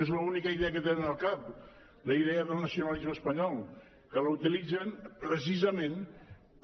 és l’única idea que tenen al cap la idea del nacionalisme espanyol que l’utilitzen precisament per